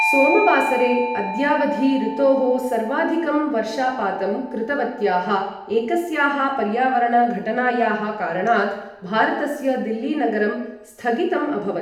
सोमवासरे, अद्यावधि ऋतोः सर्वाधिकं वर्षापातं कृतवत्याः एकस्याः पर्यावरण घटनायाः कारणात्, भारतस्य दिल्लीनगरं स्थगितम् अभवत्।